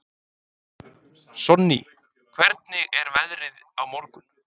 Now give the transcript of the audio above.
Sonný, hvernig er veðrið á morgun?